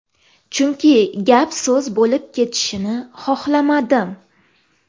Chunki gap-so‘z bo‘lib ketishini xohlamadim.